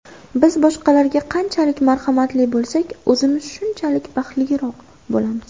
Biz boshqalarga qanchalik marhamatli bo‘lsak, o‘zimiz shunchalik baxtliroq bo‘lamiz.